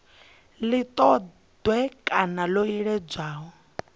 si ṱoḓee kana ḽo iledzwaho